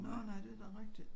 Nå nej det da rigtigt